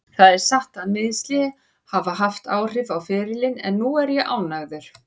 Það er satt að meiðsli hafa haft áhrif á ferilinn en núna er ég ánægður.